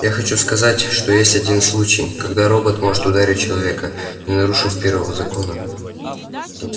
я хочу сказать что есть один случай когда робот может ударить человека не нарушив первого закона